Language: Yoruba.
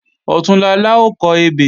Ọ̀túnla la ó kọ ebè